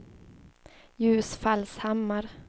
Ljusfallshammar